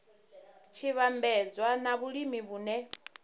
tshi vhambedzwa na vhulimi vhune